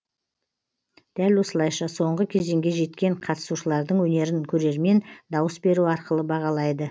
дәл осылайша соңғы кезеңге жеткен қатысушылардың өнерін көрермен дауыс беру арқылы бағалайды